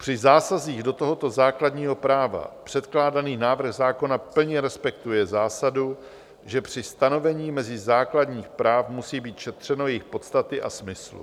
Při zásazích do tohoto základního práva předkládaný návrh zákona plně respektuje zásadu, že při stanovení mezí základních práv musí být šetřeno jejich podstaty a smyslu.